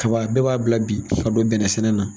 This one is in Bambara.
kaba dɔw b'a bila bi ka don bɛnɛ sɛnɛ na.